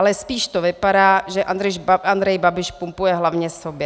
Ale spíš to vypadá, že Andrej Babiš pumpuje hlavně sobě.